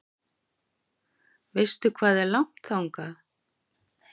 Veistu hvað er langt þangað?